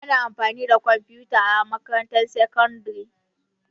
Ana amfani da kwamfuta a makarantar sakandare.